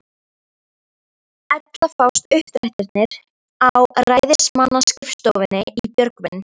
Ella fást uppdrættir á ræðismannsskrifstofunni í Björgvin.